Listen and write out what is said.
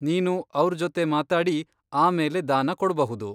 ನೀನು ಅವ್ರ್ ಜೊತೆ ಮಾತಾಡಿ ಆಮೇಲೆ ದಾನ ಕೊಡ್ಬಹುದು.